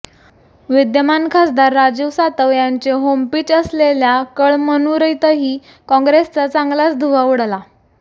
विद्यमान खासदार राजीव सातव यांचे होमपिच असलेल्या कळमनुरीतही काँग्रेसचा चांगलाच धुव्वा उडाला